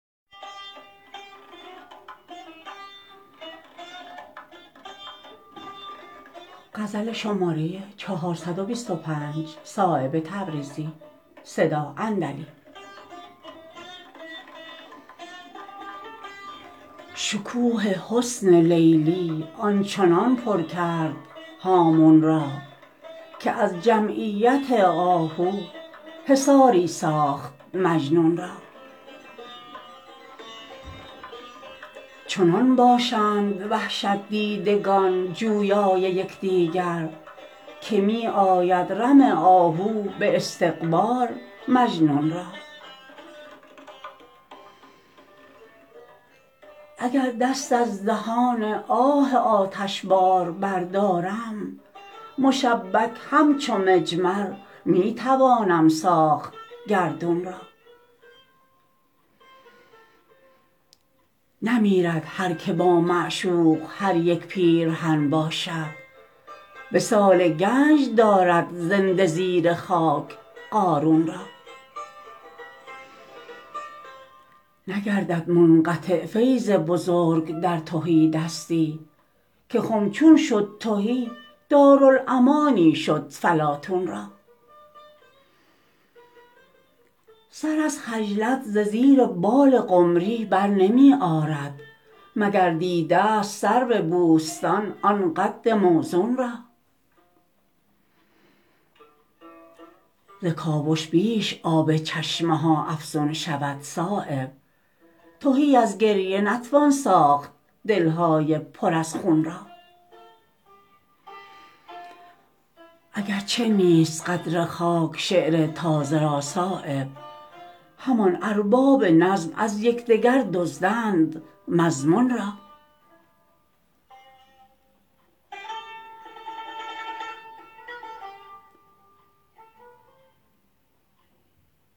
شکوه حسن لیلی آنچنان پر کرد هامون را که از جمعیت آهو حصاری ساخت مجنون را چنان باشند وحشت دیدگان جویای یکدیگر که می آید رم آهو به استقبال مجنون را اگر دست از دهان آه آتشبار بردارم مشبک همچو مجمر می توانم ساخت گردون را نمیرد هر که با معشوق در یک پیرهن باشد وصال گنج دارد زنده زیر خاک قارون را نگردد منقطع فیض بزرگان در تهیدستی که خم چون شد تهی دارالامانی شد فلاطون را سر از خجلت ز زیر بال قمری برنمی آرد مگر دیده است سرو بوستان آن قد موزون را ز کاوش بیش آب چشمه ها افزون شود صایب تهی ازگریه نتوان ساخت دل های پر از خون را اگر چه نیست قدر خاک شعر تازه را صایب همان ارباب نظم از یکدگر دزدند مضمون را